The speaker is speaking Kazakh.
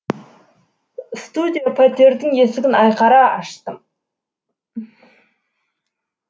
студия пәтердің есігін айқара аштым